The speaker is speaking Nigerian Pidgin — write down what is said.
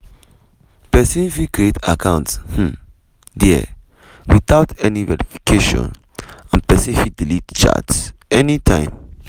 pesin fit create account um dia witout any verification and pesin fit delete chats anytime.